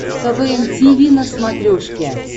квн тиви на смотрешке